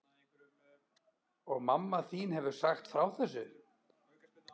Og mamma þín hefur sagt þér frá þessu?